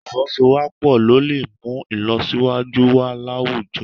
Ì̀fọwọ́sowọ́pọ̀ ló lè mú ìlọsíwájú wà láwùjọ